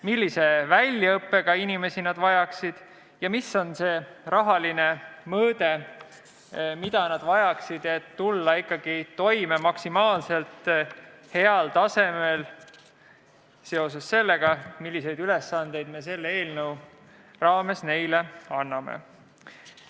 Millise väljaõppega inimesi nad vajaksid ja milline on see rahaline mõõde, mida nad vajaksid, et tulla maksimaalselt heal tasemel toime nende ülesannetega, mis me selle eelnõu raames neile anname?